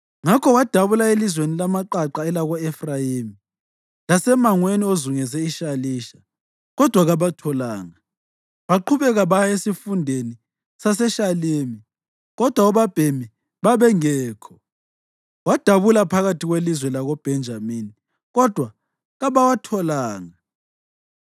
Ngakho wadabula elizweni lamaqaqa elako-Efrayimi lasemangweni ozungeze iShalisha, kodwa kababatholanga. Baqhubeka baya esifundeni saseShalimi, kodwa obabhemi babengekho. Wadabula phakathi kwelizwe lakoBhenjamini, kodwa kabawatholanga.